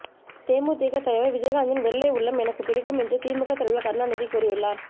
தேமுதிக தலைவர் விஜயகாந்தின் வெள்ளை உள்ளம் எனக்கு பிடிக்கும் என்று திமுக தலைவர் கருணாநிதி கூறியுள்ளார்